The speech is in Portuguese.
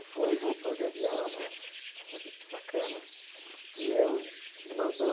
Ele foi e voltou de avião né, todo bacana, e eu me mandou